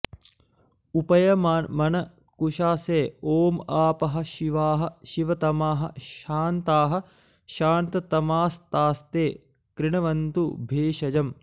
उपयमन कुशा से ॐ आपः शिवाः शिवतमाः शान्ताः शान्ततमास्तास्ते कृण्वन्तु भेषजम्